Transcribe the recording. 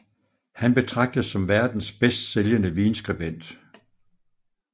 Han betragtes som verdens bedst sælgnde vinskribent